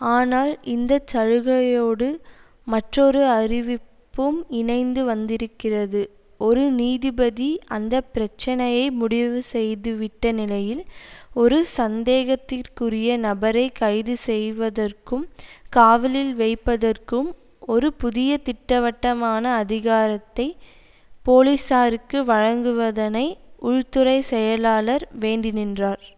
ஆனால் இந்த சலுகையோடு மற்றொரு அறிவிப்பும் இணைத்து வந்திருக்கிறது ஒரு நீதிபதி அந்த பிரச்சனையை முடிவு செய்துவிட்ட நிலையில் ஒரு சந்தேகத்திற்குரிய நபரை கைது செய்வதற்கும் காவலில் வைப்பதற்கும் ஒரு புதிய திட்டவட்டமான அதிகாரத்தை போலீசாருக்கு வழங்குவதனை உள்துறை செயலாளர் வேண்டிநின்றார்